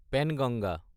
Penganga